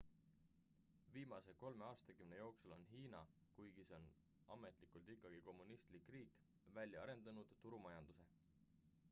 viimase kolme aastakümne jooksul on hiina kuigi see on ametlikult ikkagi kommunistlik riik välja arendanud turumajanduse